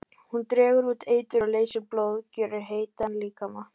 Hún dregur út eitur og leysir blóð, gjörir heitan líkama.